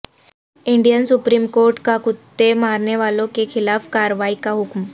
Indian Supreme Court کا کتے مارنے والوں کےخلاف کارروائی کا حکم